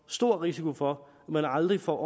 stor risiko for at man aldrig får